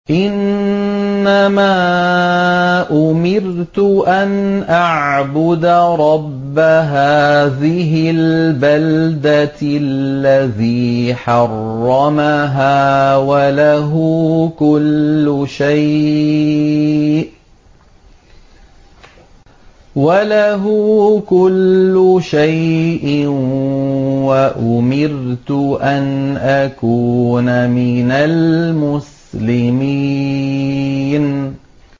إِنَّمَا أُمِرْتُ أَنْ أَعْبُدَ رَبَّ هَٰذِهِ الْبَلْدَةِ الَّذِي حَرَّمَهَا وَلَهُ كُلُّ شَيْءٍ ۖ وَأُمِرْتُ أَنْ أَكُونَ مِنَ الْمُسْلِمِينَ